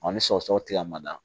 Ɔ ni sɔgɔsɔgɔ tila mada